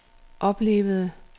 oplevede